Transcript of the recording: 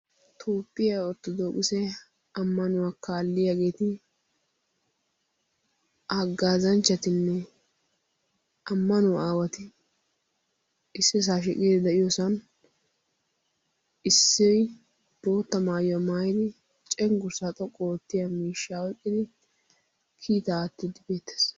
Toophphiyaa orthodookise ammanuwaa kaalliyaageeti haggaazanchchatinne amanuwaa awati issisaa shiqidi de'iyoosan issi bootta maayuwaa maayidi cenggurssaa xoqqu ootiyaa miishshaa oyqqidi kiitaa aattidi beettees.